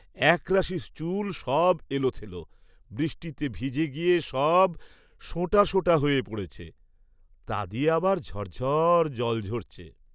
একরাশি চুল সব এলোথেলো, বৃষ্টিতে ভিজে গিয়ে সব সোটা সোটা হয়ে পড়েছে, তা দিয়ে আবার ঝর ঝর জল ঝরছে।